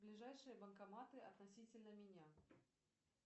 ближайшие банкоматы относительно меня